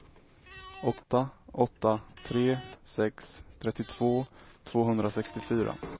åtta åtta tre sex trettiotvå tvåhundrasextiofyra